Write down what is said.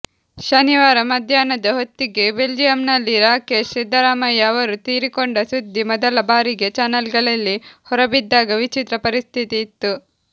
ಶನಿವಾರ ಮಧ್ಯಾಹ್ನದ ಹೊತ್ತಿಗೆ ಬೆಲ್ಜಿಯಂನಲ್ಲಿ ರಾಕೇಶ್ ಸಿದ್ದರಾಮಯ್ಯ ಅವರು ತೀರಿಕೊಂಡ ಸುದ್ದಿ ಮೊದಲಬಾರಿಗೆ ಚಾನೆಲ್ಗಳಲ್ಲಿ ಹೊರಬಿದ್ದಾಗ ವಿಚಿತ್ರ ಪರಿಸ್ಥಿತಿ ಇತ್ತು